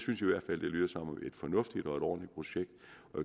fornuftigt og ordentligt projekt